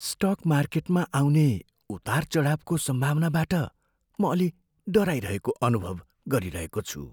Stock मार्केटमा आउने उतार चढाउको सम्भावनाबाट म अलि डराइरहेको अनुभव गरिरहेको छु।